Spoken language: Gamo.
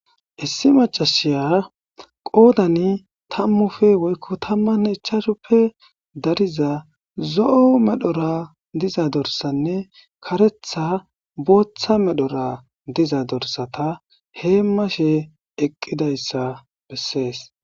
Issi Mac, asiya qodani tamupe woyiko tamanne ichashuppe bolla dorsanne zo,o medhone Karthi botha medho hemashe dizayisi besees